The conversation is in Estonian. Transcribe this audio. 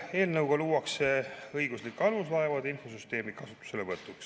Eelnõuga luuakse õiguslik alus laevade infosüsteemi kasutuselevõtuks.